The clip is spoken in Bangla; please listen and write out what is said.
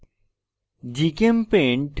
gchempaint